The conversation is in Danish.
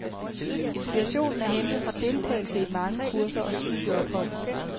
Inspirationen er hentet fra deltagelse i mange kurser og studieophold.